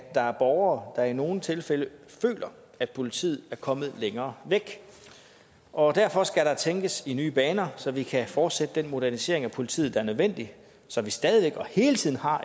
der er borgere der i nogle tilfælde føler at politiet er kommet længere væk og derfor skal der tænkes i nye baner så vi kan fortsætte den modernisering af politiet der er nødvendig så vi stadig væk og hele tiden har